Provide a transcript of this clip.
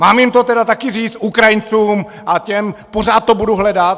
Mám jim to tedy také říct, Ukrajincům a těm, pořád to budu hledat?